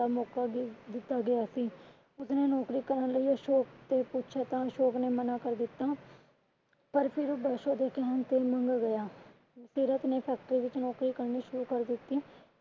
ਉਸਨੇ ਨੌਕਰੀ ਕਰਨ ਲਈ ਅਸ਼ੋਕ ਤੋਂ ਪੁੱਛਿਆ ਤਾਂ ਅਸ਼ੋਕ ਨੇ ਮਨਾ ਕਰ ਦਿੱਤਾ ਪਰ ਫਿਰ ਦਸ਼ੋ ਦੇ ਕਹਿਣ ਤੇ ਮਨ ਗਿਆ। ਸੀਰਤ ਨੇ factory ਵਿਚ ਨੌਕਰੀ ਕਰਨੀ ਸ਼ੁਰੂ ਕਰ ਦਿੱਤੀ।